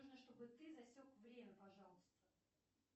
нужно чтобы ты засек время пожалуйста